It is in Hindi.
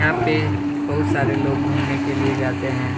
यहाँ पे बहुत सारे लोग घुमने के लिए जाते हैं।